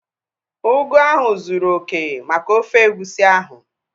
Ugu ahụ zụrụ oké maka ofe egusi ahu